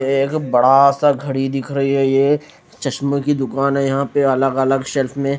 ये एक बड़ा सा घड़ी दिख रही है ये चश्मे की दुकान है यहां पे अलग-अलग शेल्फ में --